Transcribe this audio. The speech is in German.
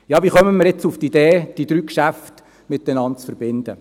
Wie kommen wir jetzt auf die Idee, diese Geschäfte miteinander zu verbinden?